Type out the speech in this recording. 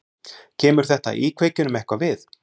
Kemur þetta íkveikjunum eitthvað við?